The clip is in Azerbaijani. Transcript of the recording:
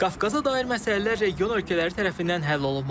Qafqaza dair məsələlər region ölkələri tərəfindən həll olunmalıdır.